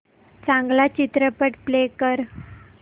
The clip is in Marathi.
चांगला चित्रपट प्ले कर